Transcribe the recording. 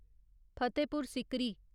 Fatehpur Sikri